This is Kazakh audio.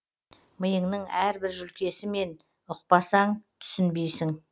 миыңның әрбір жүлкесімен ұқпасаң түсінбейсің